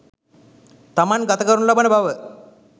තමන් ගත කරනු ලබන බව